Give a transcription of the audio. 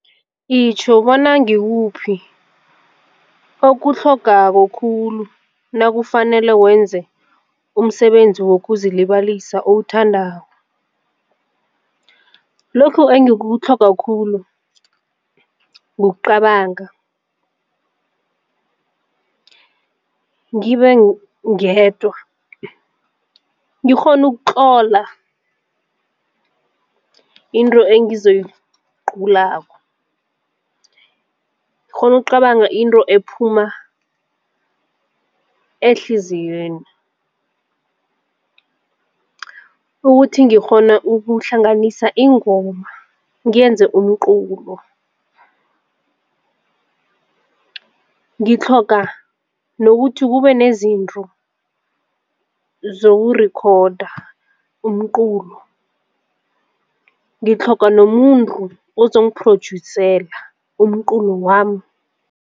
Itjho bona ngikuphi okutlhogekako khulu nakufanele wenze umsebenzi wokuzilibalisa owuthandako. Lokhu engikutlhoga khulu kucabanga ngibe ngedwa ngikghone ukutlola into engizoyiculako, ngikghone ukucabanga into ephuma ehliziyweni ukuthi ngikghone ukuhlanganisa ingoma ngenze umculo. Ngitlhoga nokuthi kube nezinto zokurikhoda umculo. Ngitlhoga nomuntu ozongiphrojusela umculo wami.